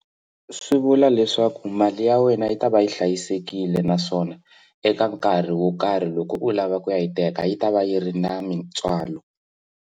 Swi vula leswaku mali ya wena yi ta va yi hlayisekile naswona eka nkarhi wo karhi loko u lava ku ya yi teka yi ta va yi ri na mitswalo.